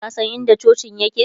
ka San in da cocin yake?